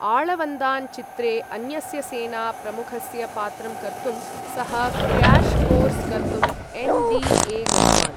आळवन्दान् चित्रे अन्यस्य सेना प्रमुखस्य पात्रं कर्तुं, सः क्र्याश् कोर्स कर्तुं एन्.डी.ए. गतवान्।